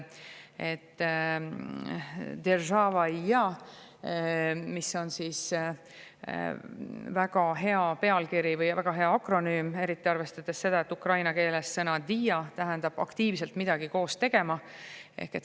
"Deržava i ja" on väga hea või väga hea akronüüm, eriti arvestades seda, et ukraina keeles sõna "dija" tähendab aktiivselt midagi koos tegema.